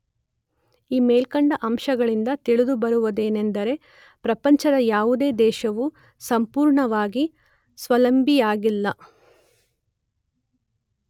ಈ ಮೇಲ್ಕಂಡ ಅಂಶಗಳಿಂದ ತಿಳಿದು ಬರುವುದೇನೆಂದರೆ ಪ್ರಪಂಚದ ಯಾವುದೇ ದೇಶವು ಸಂಪೂರ್ಣವಾಗಿ ಸ್ವಾವಲಂಬಿಯಾಗಿಲ್ಲ.